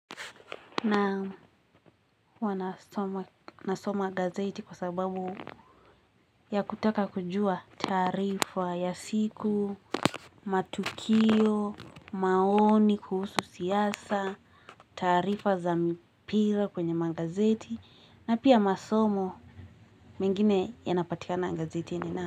Na huwa nasoma gazeti kwa sababu ya kutaka kujua taarifa ya siku, matukio, maoni kuhusu siasa, taarifa za mipira kwenye gazeti, na pia masomo mengine yanapatika na gazetini.